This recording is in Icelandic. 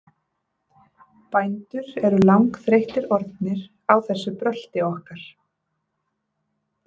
Bændur eru langþreyttir orðnir á þessu brölti okkar.